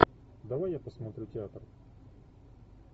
давай я посмотрю театр